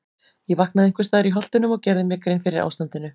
Ég vaknaði einhvers staðar í Holtunum og gerði mér grein fyrir ástandinu.